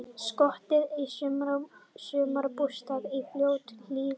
Skotið á sumarbústað í Fljótshlíðinni